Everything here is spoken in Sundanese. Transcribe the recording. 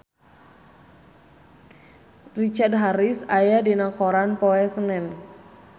Richard Harris aya dina koran poe Senen